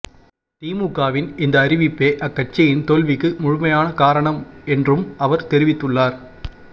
திமுகவின் இந்த அறிவிப்பே அக்கட்சியின் தோல்விக்கு முழுமையான காரணம் என்றும் அவர் தெரிவித்துள்ளார்